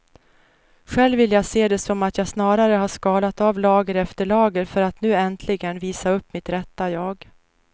Själv vill jag se det som att jag snarare har skalat av lager efter lager för att nu äntligen visa upp mitt rätta jag.